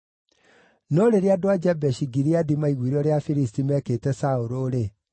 No rĩrĩa andũ a Jabeshi-Gileadi maaiguire ũrĩa Afilisti meekĩte Saũlũ-rĩ,